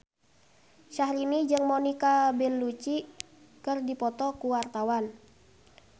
Syahrini jeung Monica Belluci keur dipoto ku wartawan